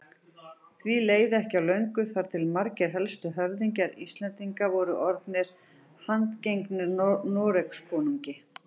Því leið ekki á löngu þar til margir helstu höfðingjar Íslendinga voru orðnir handgengnir Noregskonungi.